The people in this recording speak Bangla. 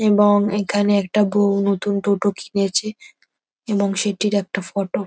এবং এখানে একটা বউ নতুন টোটো কিনেছে এবং সেটির একটা ফটো ।